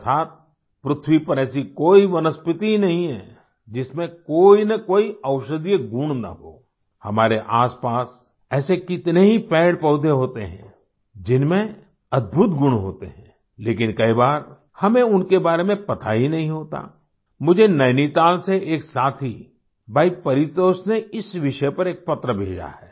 अर्थात पृथ्वी पर ऐसी कोई वनस्पति ही नहीं है जिसमें कोई न कोई औषधीय गुण न हो हमारे आसपास ऐसे कितने ही पेड़ पौधे होते हैं जिनमें अद्भुत गुण होते हैं लेकिन कई बार हमें उनके बारे में पता ही नहीं होता मुझे नैनीताल से एक साथी भाई परितोष ने इसी विषय पर एक पत्र भी भेजा है